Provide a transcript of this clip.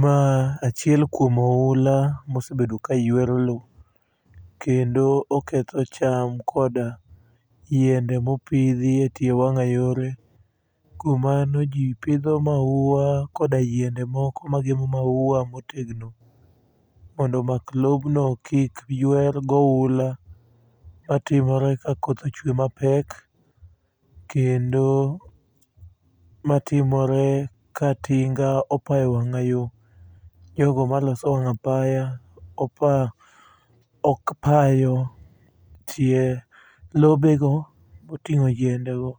Ma achiel kuom oula mosebedo ka ywero lo kendo oketho cham kod yiende mopidhi e tie mang'ayore. Kuom mano ji pidho maua koda yiende moko magemo maua motegno mondo omak lobno kik ywer go oula. Ma timore ka koth ochwe mapek kendo ma timore ka tinga opayo wang'ayo. Jogo maloso wang'apaya ok pa yo. Tie lobe go moting'o yiende go